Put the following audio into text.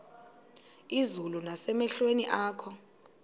izulu nasemehlweni akho